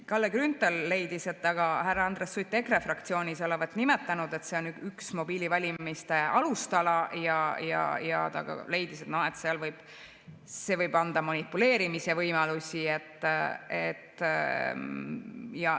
Kalle Grünthal leidis, et aga härra Andres Sutt olevat EKRE fraktsioonis nimetanud, et see on üks mobiilivalimiste alustala, ja ta leidis, et see võib anda manipuleerimisvõimalusi.